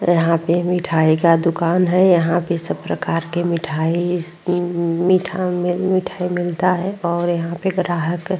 यहाँ पे मिठाई का दुकान है। यहाँ पे सब प्रकार के मिठाई-स् न्-न्- मीठा मे म्-मिठाई मिलता है और यहाँ पे ग्राहक --